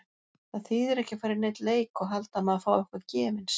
Það þýðir ekki að fara í neinn leik og halda að maður fái eitthvað gefins.